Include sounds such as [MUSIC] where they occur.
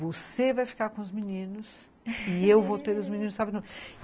Você vai ficar com os meninos e eu vou ter os meninos [LAUGHS]